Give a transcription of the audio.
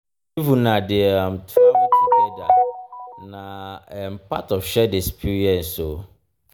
if una dey um travel togeda na um part of shared experience um o.